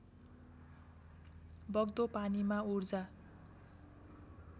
बग्दो पानीमा ऊर्जा